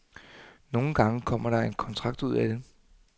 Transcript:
Nogle gange kommer der en kontrakt ud af det.